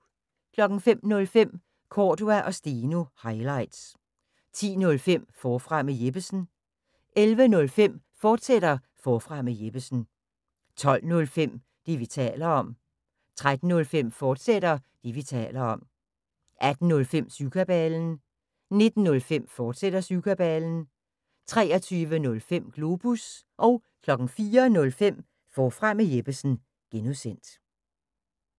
05:05: Cordua & Steno – highlights 10:05: Forfra med Jeppesen 11:05: Forfra med Jeppesen, fortsat 12:05: Det, vi taler om 13:05: Det, vi taler om, fortsat 18:05: Syvkabalen 19:05: Syvkabalen, fortsat 23:05: Globus 04:05: Forfra med Jeppesen (G)